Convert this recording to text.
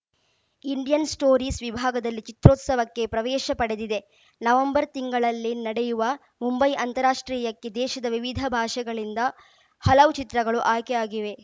Indian stories ವಿಭಾಗದಲ್ಲಿ ಚಿತ್ರೋತ್ಸವಕ್ಕೆ ಪ್ರವೇಶ ಪಡೆದಿದೆ ನವೆಂಬರ್‌ ತಿಂಗಳಲ್ಲಿ ನಡೆಯುವ ಮುಂಬೈ ಅಂತಾರಾಷ್ಟ್ರೀಯಕ್ಕೆ ದೇಶದ ವಿವಿಧ ಭಾಷೆಗಳಿಂದ ಹಲವು ಚಿತ್ರಗಳು ಆಯ್ಕೆ ಆಗಿವೆ